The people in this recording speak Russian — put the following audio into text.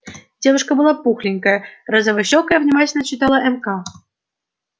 девушка была пухленькая розовощёкая внимательно читала мк